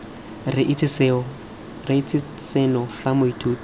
re itse seno fa moithuti